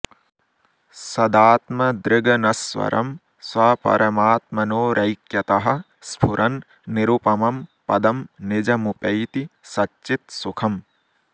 सदात्मदृगनश्वरं स्वपरमात्मनोरैक्यतः स्फुरन् निरुपमं पदं निजमुपैति सच्चित् सुखम्